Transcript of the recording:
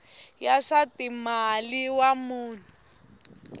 ya swa timal wa vanhu